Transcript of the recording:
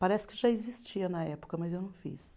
Parece que já existia na época, mas eu não fiz.